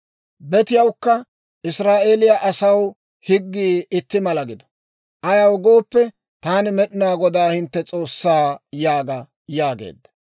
Betiyawukka Israa'eeliyaa asaw higgii itti mala gido; ayaw gooppe Taani Med'inaa Godaa hintte S'oossaa› yaaga» yaageedda.